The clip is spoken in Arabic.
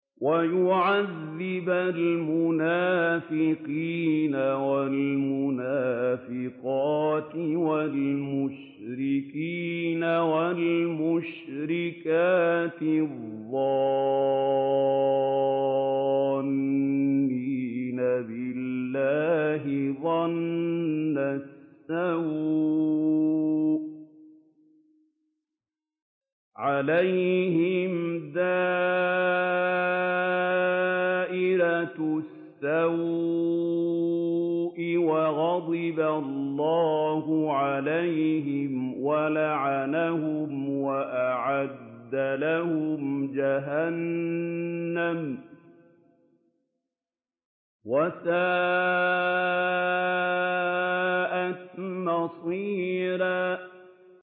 وَيُعَذِّبَ الْمُنَافِقِينَ وَالْمُنَافِقَاتِ وَالْمُشْرِكِينَ وَالْمُشْرِكَاتِ الظَّانِّينَ بِاللَّهِ ظَنَّ السَّوْءِ ۚ عَلَيْهِمْ دَائِرَةُ السَّوْءِ ۖ وَغَضِبَ اللَّهُ عَلَيْهِمْ وَلَعَنَهُمْ وَأَعَدَّ لَهُمْ جَهَنَّمَ ۖ وَسَاءَتْ مَصِيرًا